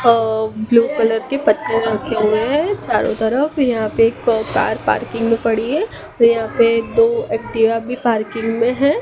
अ blue colour के पत्ते रखे हुए चारों तरफ यहां पे एक कार पार्किंग में पड़ी है व यहां पे दो एक्टिवा भी पार्किंग में है।